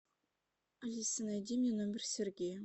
алиса найди мне номер сергея